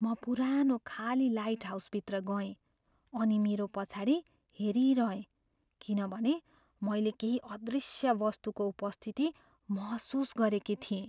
म पुरानो खाली लाइटहाउसभित्र गएँ, अनि मेरो पछाडि हेरिरहेँ किनभने मैले केही अदृश्य वस्तुको उपस्थिति महसुस गरेकी थिएँ।